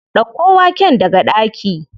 Ɗauko waken daga ɗaki.